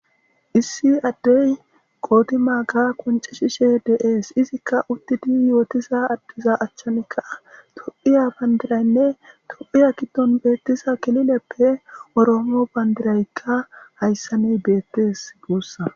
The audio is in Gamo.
Issi addey qooti maaga qonce shishe de7ees izikka uttidi yootisa addiza achchanikka tophiya bandiraynne tophiya kiddon beettisa kilileppe oroomo bandiraykka hayssani beettes guussa.